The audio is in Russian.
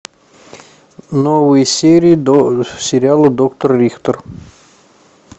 новые серии сериала доктор рихтер